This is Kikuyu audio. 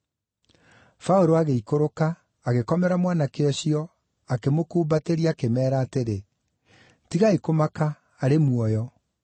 Paũlũ agĩikũrũka, agĩkomera mwanake ũcio akĩmũkumbatĩria akĩmeera atĩrĩ, “Tigai kũmaka, arĩ muoyo!”